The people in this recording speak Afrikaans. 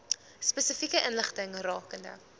spesifieke inligting rakende